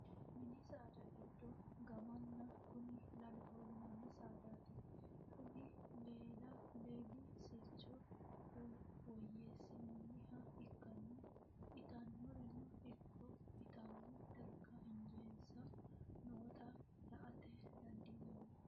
mini saada giddo gaammanni kuni laloho yinanni saadaati. kuni lali sircho woyyeessinoonniha ikkanna, itannorino ikko itanno dargi injeensa noota la'ate dandiinanni.